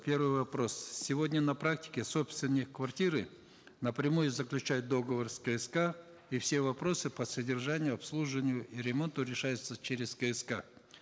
первый вопрос сегодня на практике собственник квартиры напрямую заключает договор с кск и все вопросы по содержанию обслуживанию и ремонту решаются через кск